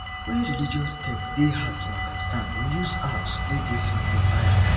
when religious text dey hard to understand we use apps wey dey simplify am